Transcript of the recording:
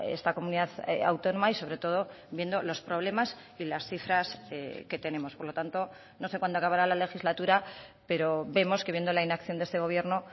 esta comunidad autónoma y sobre todo viendo los problemas y las cifras que tenemos por lo tanto no sé cuándo acabará la legislatura pero vemos que viendo la inacción de este gobierno